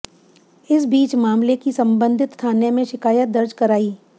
इस बीच मामले की संबंधित थाने में शिकायत दर्ज कराई